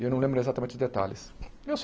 E eu não lembro exatamente os detalhes. Eu